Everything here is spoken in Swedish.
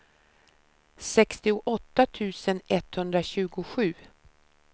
sextioåtta tusen etthundratjugosju